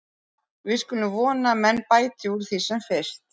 Við skulum vona að menn bæti úr því sem fyrst.